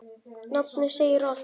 Nafnið segir allt.